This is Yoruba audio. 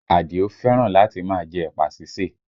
Adio fẹ́ràn láti máa jẹ ẹ̀pà sísè